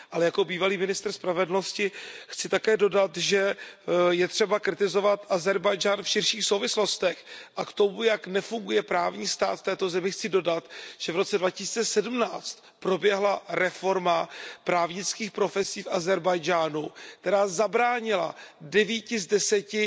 Ale jako bývalý ministr spravedlnosti chci také dodat, že je třeba kritizovat Ázerbájdžán v širších souvislostech. A k tomu, jak nefunguje právní stát v této zemi, chci dodat, že v roce 2017 proběhla reforma právnických profesí v Ázerbájdžánu, která zabránila devíti z deseti